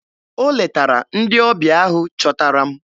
O letara ndị ọbịa ahụ chọtara m?